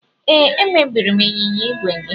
Ee, emebiri m ịnyịnya ígwè gị.